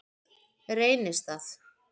Reynistað